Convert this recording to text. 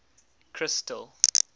crystal